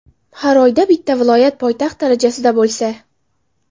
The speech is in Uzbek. Har oyda bitta viloyat poytaxt darajasida bo‘lsa.